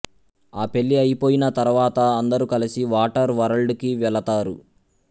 ఆ పెళ్ళి అయిపోయిన తరువాత అందరూ కలిసి వాటర్ వరల్డ్ కి వెళతారు